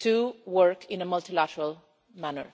to work in a multilateral manner.